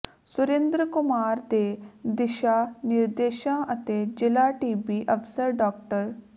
ਸੁਰਿੰਦਰ ਕੁਮਾਰ ਦੇ ਦਿਸ਼ਾ ਨਿਰਦੇਸ਼ਾਂ ਅਤੇ ਜ਼ਿਲ੍ਹਾ ਟੀਬੀ ਅਫ਼ਸਰ ਡਾ